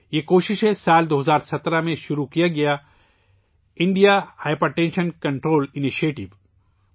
یہ کوشش ہے، جو سال 2017 ء میں شروع کی گئی '' India hypertension control initiative ''